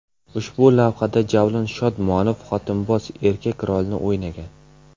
Ushbu lavhada Javlon Shodmonov xotinboz erkak rolini o‘ynagan.